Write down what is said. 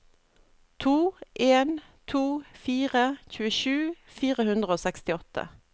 to en to fire tjuesju fire hundre og sekstiåtte